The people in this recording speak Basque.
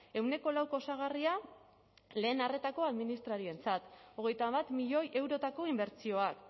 ehuneko lauko osagarria lehen arretako administrarientzat hogeita bat milioi eurotako inbertsioak